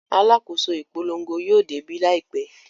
Alákòóso ìpolongo yóò débí láìpẹ́.